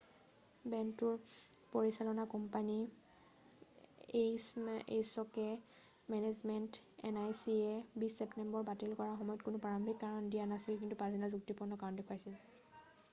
বেণ্ডটোৰ পৰিচালনা কোম্পানী এইছকে মেনেজমেণ্ট আইএনচিয়ে 20 ছেপ্তেম্বৰত বাতিল কৰাৰ সময়ত কোনো প্ৰাৰম্ভিক কাৰণ দিয়া নাছিল কিন্ত পাছদিনা যুক্তিপূৰ্ণ কাৰণ দেখুৱাইছিল